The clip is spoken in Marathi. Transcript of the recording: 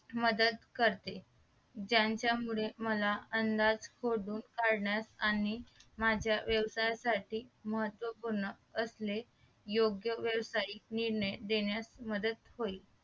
करते ज्यांच्या मुळे मला अंदाज शोधून काढण्यास आणि माझ्या व्यवसायासाठी महत्वपूर्ण असणे योग्य व्यवसायिक निर्णय देण्यास मदत होईल